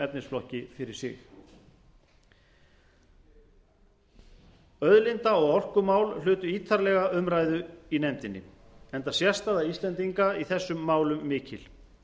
efnisflokki fyrir sig auðlinda og orkumál hlutu ítarlega umræðu í nefndinni enda sérstaða íslendinga í þessum málum mikil